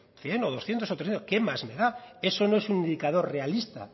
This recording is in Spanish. cien o doscientos o trescientos qué más me da eso no es un indicador realista